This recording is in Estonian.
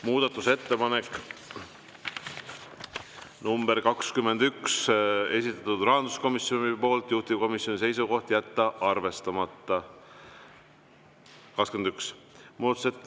Muudatusettepanek nr 21, esitanud rahanduskomisjon, juhtivkomisjoni seisukoht: jätta arvestamata.